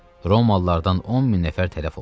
Romalılardan 10 min nəfər tələf oldu.